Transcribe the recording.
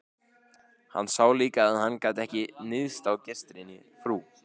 Hann sá líka að hann gat ekki níðst á gestrisni frú